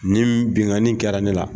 Nin binkani kɛra ne la.